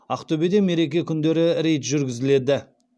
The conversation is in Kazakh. ақтөбеде мереке күндері рейд жүргізіледі